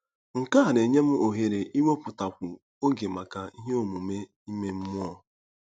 Nke a na-enye m ohere iwepụtakwu oge maka ihe omume ime mmụọ.